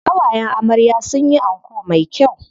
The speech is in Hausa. Ƙawayen amarya sun yi anko me kyau.